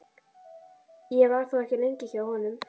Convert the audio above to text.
Ég var þó ekki lengi hjá honum.